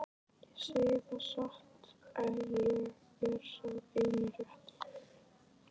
Ég segi það satt, ég er sá eini rétti.